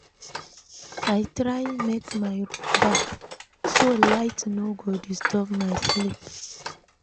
I try make my room dark, so light no go disturb my sleep.